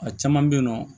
A caman bɛ yen nɔ